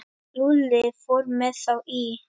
Lúlli fór með þá í